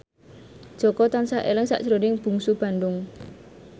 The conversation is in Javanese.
Jaka tansah eling sakjroning Bungsu Bandung